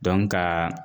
ka